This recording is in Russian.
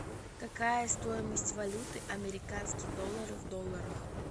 какая стоимость валюты американский доллар в долларах